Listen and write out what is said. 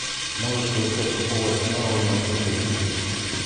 можешь поискать футбол арсенала и манчестер сити